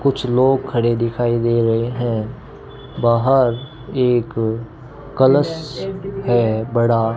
कुछ लोग खड़े दिखाई दे रहे हैं बाहर एक कलश है बड़ा --